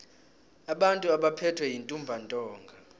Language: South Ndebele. abantu abaphethwe yintumbantonga